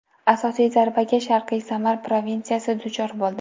Asosiy zarbaga Sharqiy Samar provinsiyasi duchor bo‘ldi.